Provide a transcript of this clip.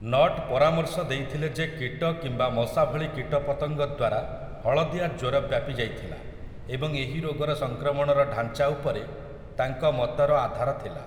Not ପରାମର୍ଶ ଦେଇଥିଲେ ଯେ କୀଟ କିମ୍ବା ମଶା ଭଳି କୀଟପତଙ୍ଗ ଦ୍ୱାରା ହଳଦିଆ ଜ୍ୱର ବ୍ୟାପି ଯାଇଥିଲା, ଏବଂ ଏହି ରୋଗର ସଂକ୍ରମଣର ଢାଞ୍ଚା ଉପରେ ତାଙ୍କ ମତର ଆଧାର ଥିଲା ।